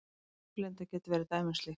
Snjóblinda getur verið dæmi um slíkt.